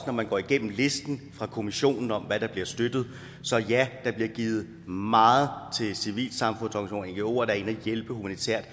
når man går igennem listen fra kommissionen om hvad der bliver støttet så ja der bliver givet meget til civilsamfundsorganisationer der er inde at hjælpe humanitært og